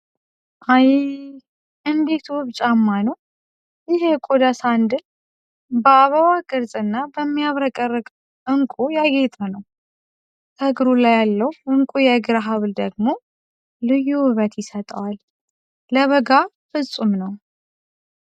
አይይይ! እንዴት ውብ ጫማ ነው! ይህ የቆዳ ሳንድል በአበባ ቅርጽና በሚያብረቀርቅ ዕንቁ ያጌጠ ነው! ከእግሩ ላይ ያለው ዕንቁ የእግር ሐብል ደግሞ ልዩ ውበት ይሰጠዋል! ለበጋ ፍጹም ነው!"